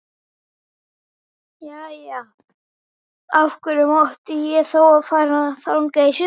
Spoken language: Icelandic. Jæja, af hverju mátti ég þá fara þangað í sumar?